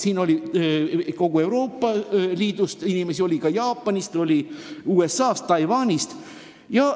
Siin oli kogu Euroopa Liidust inimesi ja oli ka Jaapanist, USA-st, Taiwanist.